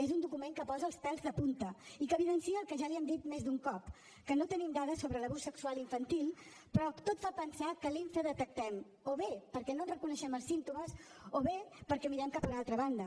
és un document que posa els pèls de punta i que evidencia el que ja li hem dit més d’un cop que no tenim dades sobre l’abús sexual infantil però tot fa pensar que l’infradetectem o bé perquè no en reconeixem els símptomes o bé perquè mirem cap a una altra banda